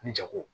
Ni jago